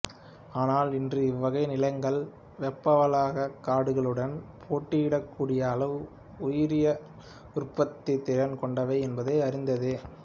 ஆனால் இன்று இவ்வகை நிலங்கள் வெப்பவலயக் காடுகளுடன் போட்டியிடக் கூடிய அளவு உயிரியல் உற்பத்தித்திறன் கொண்டவை என்பது அறிந்ததே